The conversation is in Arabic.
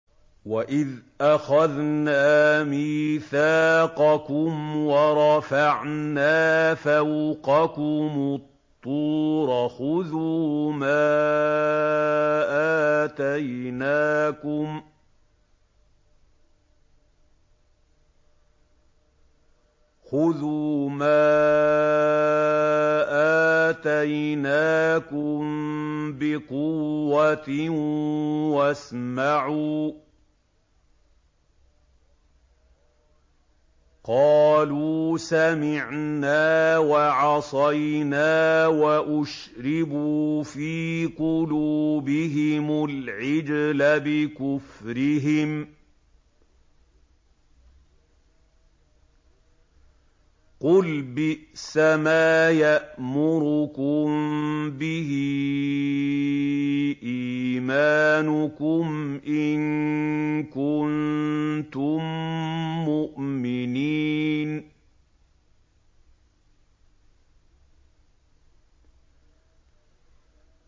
وَإِذْ أَخَذْنَا مِيثَاقَكُمْ وَرَفَعْنَا فَوْقَكُمُ الطُّورَ خُذُوا مَا آتَيْنَاكُم بِقُوَّةٍ وَاسْمَعُوا ۖ قَالُوا سَمِعْنَا وَعَصَيْنَا وَأُشْرِبُوا فِي قُلُوبِهِمُ الْعِجْلَ بِكُفْرِهِمْ ۚ قُلْ بِئْسَمَا يَأْمُرُكُم بِهِ إِيمَانُكُمْ إِن كُنتُم مُّؤْمِنِينَ